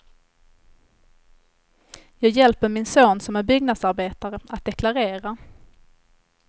Jag hjälper min son som är byggnadsarbetare att deklarera.